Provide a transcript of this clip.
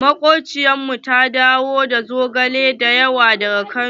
Makobciyar mu ta dawo da zogale da yawa daga kano.